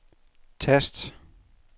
tast